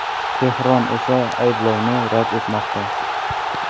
Tehron esa ayblovni rad etmoqda.